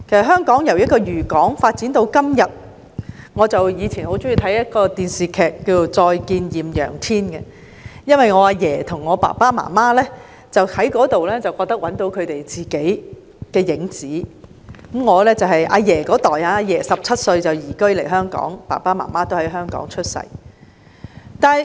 香港由一個漁港發展至今天......我以前很喜歡收看一套電視劇，叫"再見艷陽天"，因為我的爺爺和父母從這一齣劇集中找到屬於他們的影子；我的爺爺17歲便移居來港，而我的父母在港出生。